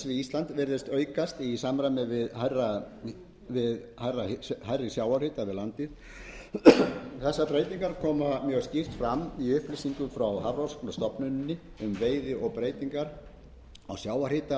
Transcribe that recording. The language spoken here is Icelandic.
við ísland virðist aukast í samræmi við hærri sjávarhita við landið þessar breytingar koma mjög skýrt fram í upplýsingum frá hafrannsóknastofnuninni um veiði og breytingar á sjávarhita